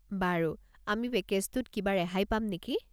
বাৰু। আমি পেকেজটোত কিবা ৰেহাই পাম নেকি?